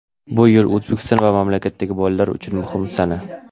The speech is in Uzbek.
bu yil O‘zbekiston va bu mamlakatdagi bolalar uchun muhim sana.